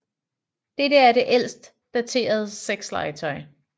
Dette er det ældst daterede sexlegetøj